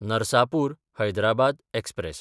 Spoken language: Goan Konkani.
नरसापूर–हैदराबाद एक्सप्रॅस